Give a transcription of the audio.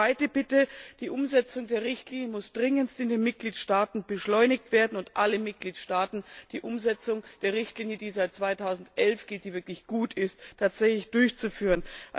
Zweite Bitte Die Umsetzung der Richtlinie muss in den Mitgliedstaaten dringendst beschleunigt werden, und alle Mitgliedstaaten müssen die Umsetzung der Richtlinie, die seit 2011 gilt und wirklich gut ist, tatsächlich durchführen.